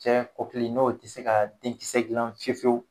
Cɛ kɔkili ni o tɛ se ka denkisɛ gilan fiye fiyewu.